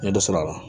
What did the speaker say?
N ye dɔ sɔrɔ a la